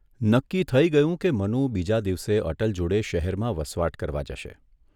નક્કી થઇ ગયું કે મનુ બીજા દિવસે અટલ જોડે શહેરમાં વસવાટ કરવા જશે.